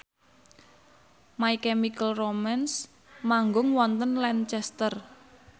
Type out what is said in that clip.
My Chemical Romance manggung wonten Lancaster